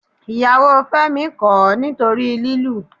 Ìyàwó Fẹ́mi kọ̀ ọ́ nítorí lílù